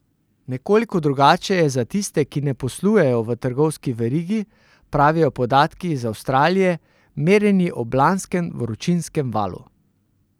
Nekoliko drugače je za tiste, ki ne poslujejo v trgovski verigi, pravijo podatki iz Avstralije, merjeni ob lanskem vročinskem valu.